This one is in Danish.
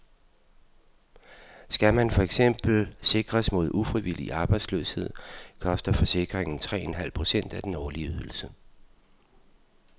Skal man for eksempel sikres mod ufrivillig arbejdsløshed, koster forsikringen tre en halv procent af den årlige ydelse.